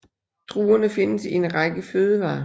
Druerne findes i en række fødevarer